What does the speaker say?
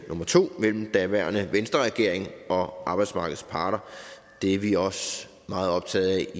mellem den daværende venstre regering og arbejdsmarkedets parter det er vi også meget optaget